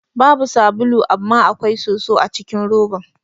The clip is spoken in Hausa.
Babu sabulu amma akwai soso acikin roban.